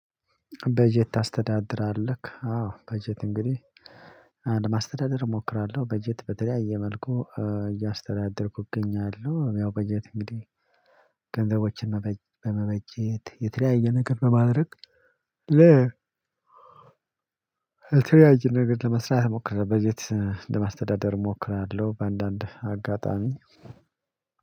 በጀት ታስተዳድራለህ? አዎ በጀት እንግዲህ አንድ ማስተዳደር እሞክራለሁ በጀት በተለያየ መልኩ እያስተዳደርኩኝ እገኛለሁ። ያው በጀት እንግዲህ ገንዘቦችን መበጀት የተለያየ ነገር በማድረግ ለ የተለያየ ነገር ለመስራት ሞክሬ በጀት ለማስተዳደር እሞክራለሁ። በአንዳንድ አጋጣሚ